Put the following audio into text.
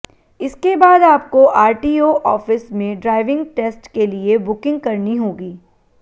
इसके बाद आपको आरटीओ ऑफिस में ड्राइविंग टेस्ट के लिए बुकिंग करनी होगी